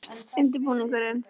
Hvenær hófst undirbúningur?